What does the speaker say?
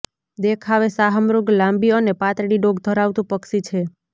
દેખાવે શાહમૃગ લાંબી અને પાતળી ડોક ધરાવતું પક્ષી છે